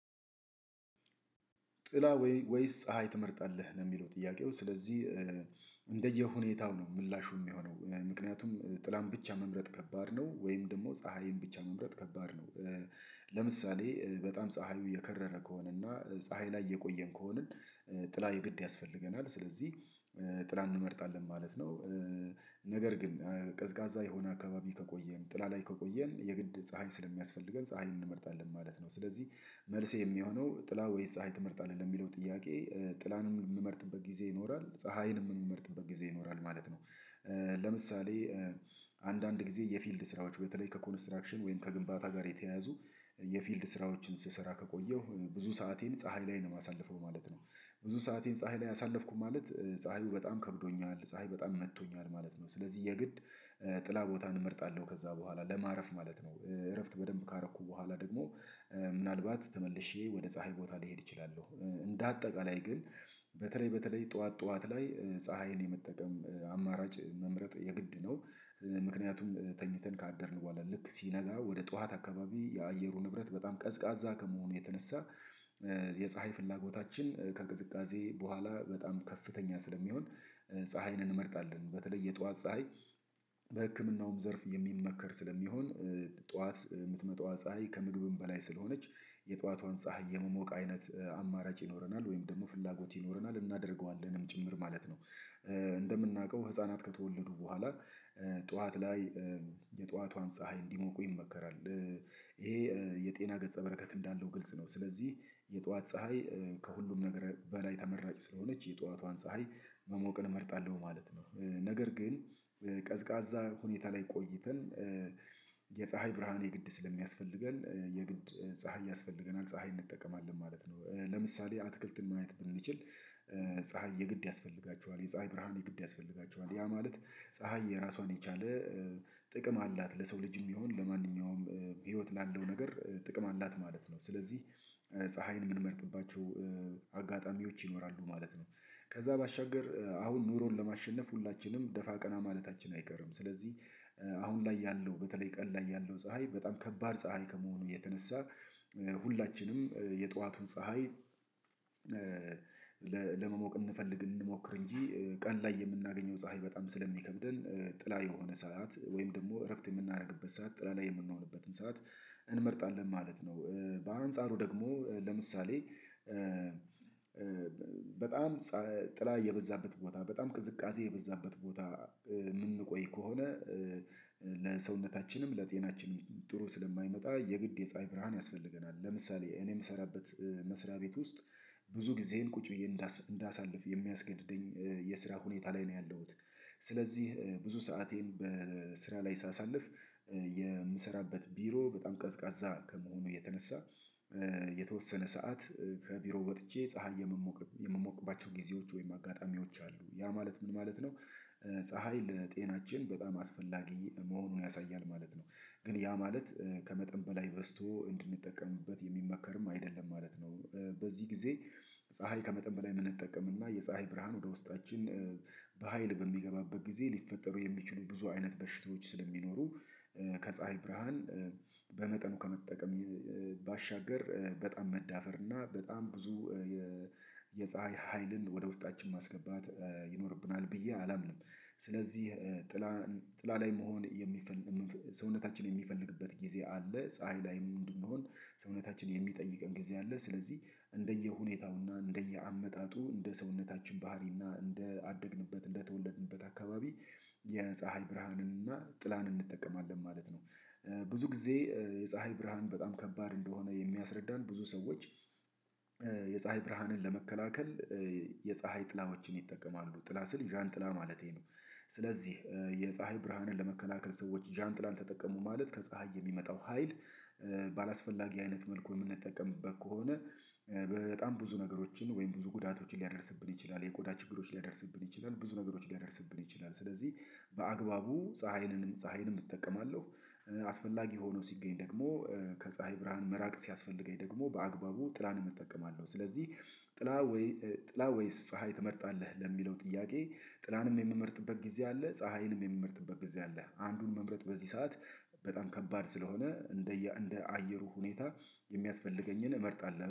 ጥላ ወይስ ፀሀይ ትመርጣለህ ነው የሚለው ጥያቄው? ስለዚህ እንደየሁኔታው ነው ምላሹ የሚሆነው። ምክንያቱም ጥላም ብቻ መምረጥ ከባድ ነው። ወይም ደግሞ ፀሀይም ብቻ መምረጥ ከባድ ነው። ለምሳሌ በጣም ፀሀዩ የከረረ ከሆነ እና ፀሀይ ላይ የቆየን ከሆንን ጥላ የግድ ያስፈልገናል ስለዚህ ጥላ እንመርጣለን ማለት ነው። ነገር ግን ቀዝቃዛ የሆነ አካባቢ ከቆየን ጥላ ላይ ከቆየን የግድ ፀሀይ ስለሚያስፈልገን ፀሀይን እንመርጣለን ማለት ነው። ስለዚህ መልሴ የሚሆነው ጥላ ወይስ ፀሀይ ትመርጣለህ ለሚለው ጥያቄ ጥላንም የምመርጥበት ጊዜ ይኖራል ፀሀይንም የምመርጥበት ጊዜ ይኖራል ማለት ነው። ለምሳሌ አንዳንድ ጊዜ የፊልድ ስራዎች በተለይ ከኮንስትራክሽን ወይም ከግንባታ ጋር የተያያዙ የፊልድ ስራዎችን ስሰራ ከቆየው ብዙ ሰአቴን ፀሀይ ላይ ነው የማሳልፈው ማለት ነው። ብዙ ሰአቴን ፀሀይ ላይ አሳለፍኩኝ ማለት ፀሀዩ በጣም ከብዶኛል ፀሀይ በጣም መጥቶኛል ማለት ነው። ስለዚህ የግድ ጥላ ቦታን እመርጣለሁ ከዛ በኋላ ለማረፍ ማለት ነው። እረፍት በደንብ ካረኩ በኋላ ደግሞ ምናልባት ተመልሼ ወደ ፀሀይ ቦታ ልሄድ እችላለሁ። እንደ አጠቃላይ ግን በተለይ በተለይ ጠዋት ጠዋት ላይ ፀሀይን የመጠቀም አማራጭ መምረጥ የግድ ነው። ምክንያቱም ተኝተን ካደርን በኋላ ልክ ሲነጋ ወደ ጠዋት አካባቢ የአየሩ ንብረት በጣም ቀዝቃዛ ከመሆኑ የተነሳ የፀሀይ ፍላጎታችን ከቅዝቃዜ በኋላ በጣም ከፍተኛ ስለሚሆን ፀሀይን እንመርጣለን በተለይ የጠዋት ፀሀይ። በህክምናውም ዘርፍ የሚመከር ስለሚሆን ጠዋት የምትመጣዋ ፀሀይ ከምግብም በላይ ስለሆነች የጠዋቷን ፀሀይ የመሞቅ አይነት አማራጭ ይኖረናል ወይም ደግሞ ፍላጎት ይኖረናል እናደርገዋለንም ጭምር ማለት ነው። እንደምናውቀው ህፃናት ከተወለዱ በኋላ ጠዋት ላይ የጠዋቷን ፀሀይ እንዲሞቁ ይመከራል። ይሄ የጤና ገፀ በረከት እንዳለው ግልጽ ነው። ስለዚህ የጠዋት ፀሀይ ከሁሉም ነገር በላይ ተመራጭ ስለሆነች የጠዋቷን ፀሀይ መሞቅን እመርጣለሁ ማለት ነው። ነገር ግን ቀዝቃዛ ሁኔታ ላይ ቆይተን የፀሀይ ብርሃን የግድ ስለሚያስፈልገን የግድ ፀሀይ ያስፈልገናል ፀሀይ እንጠቀማለን ማለት ነው። ለምሳሌ አትክልትን ማየት ብንችል ፀሀይ የግድ ያስፈልጋቸዋል የፀሀይ ብርሃን የግድ ያስፈልጋቸዋል ያ ማለት ፀሀይ የራሷን የቻለ ጥቅም አላት ለሰው ልጅ የሚሆን ለማንኛውም ህይወት ላለው ነገር ጥቅም አላት ማለት ነው። ስለዚህ ፀሀይን የምንመርጥባቸው ይኖራሉ ማለት ነው። ከዛ ባሻገር አሁን ኑሮን ለማሸነፍ ሁላችንም ደፋ ቀና ማለታችን አይቀርም። ስለዚህ አሁን ላይ ያለው በተለይ ቀን ላይ ያለው ፀሀይ በጣም ከባድ ፀሀይ ከመሆኑ የተነሳ ሁላችንም የጠዋቱን ፀሀይ ለለመሞቅ እንፈልግ እንሞክር እንጂ ቀን ላይ የምናገኘው ፀሀይ በጣም ስለሚከብደን ጥላ የሆነ ሰዓት ወይም ደግሞ እረፍት የምናደርግበት ሰዓት ጥላ ላይ የምንሆንበትን ሰዓት እንመርጣለን ማለት ነው። በአንጻሩ ደግሞ ለምሳሌ በጣም ጸ ጥላ የበዛበት ቦታ በጣም ቅዝቃዜ የበዛበት ቦታ የምንቆይ ከሆነ ለሰውነታችንም ለጤናችንም ጥሩ ስለማይመጣ የግድ የፀሀይ ብርሃን ያስፈልገናል። ለምሳሌ እኔ የምሰራበት መስሪያ ቤት ውስጥ ብዙ ጊዜየን ቁጭ ብዬ እንዳሳልፍ የሚያስገድደኝ የስራ ሁኔታ ላይ ነው ያለሁት። ስለዚህ ብዙ ሰአቴን በስራ ላይ ሳሳልፍ የምሰራበት ቢሮ በጣም ቀዝቃዛ ከመሆኑ የተነሳ የተወሰነ ሰዓት ከቢሮ ወጥቼ ፀሀይ የምሞቅ የምሞቅባቸው ጊዜዎች ወይም አጋጣሚዎች አሉ ያ ማለት ምን ማለት ነው ፀሀይ ለጤናችን በጣም አስፈላጊ መሆኑን ያሳያል ማለት ነው። ግን ያ ማለት ከመጠን በላይ በዝቶ እንድንጠቀምበት የሚመከርም አይደለም ማለት ነው። በዚህ ጊዜ ፀሀይ ከመጠን በላይ የምንጠቀምና የፀሀይ ብርሃን ወደ ውስጣችን በሃይል በሚገባበት ጊዜ ሊፈጠሩ የሚችሉ ብዙ አይነት በሽታዎች ስለሚኖሩ ከፀሀይ ብርሃን በመጠኑ ከመጠቀም ባሻገር በጣም መዳፈር እና በጣም ብዙ የ የፀሀይ ኃይልን ወደ ውስጣችን ማስገባት ይኖርብናል ብዬ አላምንም። ስለዚህ ጥላ ጥላ ላይ መሆን የሚፈልግ የምንፈ ሰውነታችን የሚፈልግበት ጊዜ አለ። ፀሀይ ላይም እንድንሆን ሰውነታችን የሚጠይቀን ጊዜ አለ። ስለዚህ እንደየሁኔታውና እንደየአመጣጡ እንደ ሰውነታችን ባህሪና እንደ አደግንበት እንደ ተወለድንበት አካባቢ የፀሀይ ብርሃንን እና ጥላንን እንጠቀማለን ማለት ነው። ብዙ ጊዜ የፀሀይ ብርሃን በጣም ከባድ እንደሆነ የሚያስረዳን ብዙ ሰዎች የፀሀይ ብርሃንን ለመከላከል የፀሀይ ጥላዎችን ይጠቀማሉ ጥላ ስል ዣን ጥላ ማለቴ ነው። ስለዚህ የፀሀይ ብርሃንን ለመከላከል ሰዎች ዣንጥላን ተጠቀሙ ማለት ከፀሀይ የሚመጣው ሀይል ባላስፈላጊ አይነት መልኩ የምንጠቀምበት ከሆነ በጣም ብዙ ነገሮችን ወይም ብዙ ጉዳቶችን ሊያደርስብን ይችላል የቆዳ ችግሮችን ሊያደርስብን ይችላል ብዙ ነገሮችን ሊያደርስብን ይችላል። ስለዚህ በአግባቡ ፀሀይንንም ፀሀይንም እጠቀማለሁ። አስፈላጊ ሆኖ ሲገኝ ደግሞ ከፀሀይ ብርሃን መራቅ ሲያስፈልገኝ ደግሞ በአግባቡ ጥላንም እጠቀማለሁ። ስለዚህ ጥላ ወይ ጥላ ወይስ ፀሀይ ትመርጣለህ ለሚለው ጥያቄ ጥላንም የምመርጥበት ጊዜ አለ ፀሀይንም የምመርጥበት ጊዜ አለ። አንዱን መምረጥ በዚህ ሰዓት በጣም ከባድ ስለሆነ እንደየ እንደ አየሩ ሁኔታ የሚያስፈልገኝን እመርጣለሁ